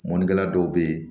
Mɔnikɛla dɔw bɛ yen